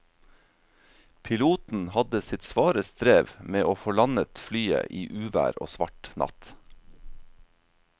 Piloten hadde sitt svare strev med å få landet flyet i uvær og svart natt.